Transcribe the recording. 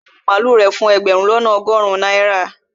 ó ta àwọn màlúù rẹ̀ fún ẹgbẹ̀rún lọ́nà ọgọrun náírà